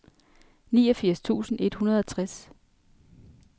niogfirs tusind et hundrede og tres